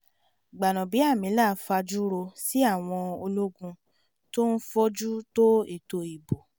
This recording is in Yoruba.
gbanábíàmílà fajú ro sí àwọn ológun tó ń fojú tó ètò ìbò